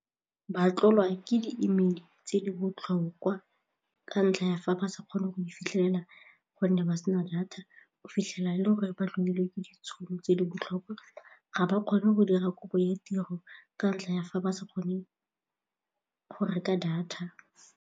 Ba tlolwa ke di-E-mail-e tse di botlhokwa ka ntlha ya fa ba sa kgone go fitlhelela gonne ba sena data o fitlhela e le gore ba tlodile ke ditšhono tse di botlhokwa ga ba kgone go dira kopo ya tiro ka ntlha ya fa ba sa kgone go reka data.